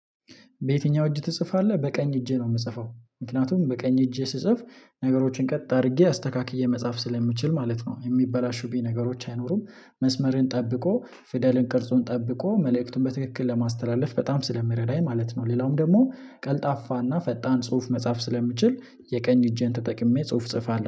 በየትኛው? እጅ ትጽፋለህ በቀኝ እጄ ነው የምጽፈው ምክንያቱም በቀኝ እጄ ስጽፍ ነገሮችን ቀጥ አድርጌ አስተካክዬ መጻፍ ስለምችል ማለት ነው የሚበላሹብኝ ነገሮች አይኖሩም። መስመርን ጠብቆ ፊደልን ቅርጹን ጠብቆ መልእክቱን በትክክል ለማስተላለፍ በጣም ስለሚረዳኝ ማለት ነው። ሌላውም ደግሞ ቀልጣፋና ፈጣን ጽሁፍ መጻፍ ስለምችል የቀኝ እጄን ተጠቅሜ ጽሁፍ ጽፋለሁ